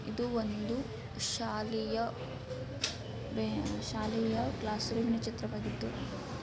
ಇದು ಒಂದು ಶಾಲೆಯ ಶಾಲೆಯ ಕ್ಲಾಸ್ ರೂಮ್ ನ ಚಿತ್ರವಾಗಿದ್ದು .